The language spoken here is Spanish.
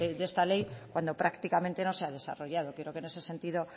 de esta ley cuando prácticamente no se ha desarrollado creo que en ese sentido